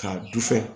K'a dusɛ